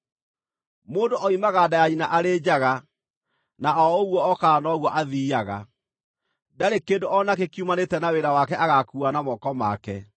Mũndũ oimaga nda ya nyina arĩ njaga, na o ũguo okaga, noguo athiiaga. Ndarĩ kĩndũ o nakĩ kiumanĩte na wĩra wake agaakuua na moko make.